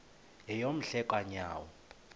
yeyom hle kanyawo